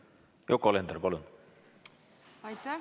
Yoko Alender, palun!